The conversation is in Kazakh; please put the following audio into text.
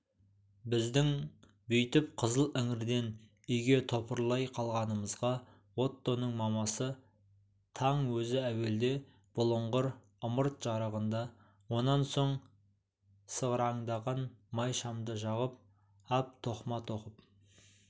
біздің бүйтіп қызыл іңірден үйге топырлай қалғанымызға оттоның мамасы таң өзі әуелде бұлыңғыр ымырт жарығында онан соң сығыраңдаған май шамды жағып ап тоқыма тоқып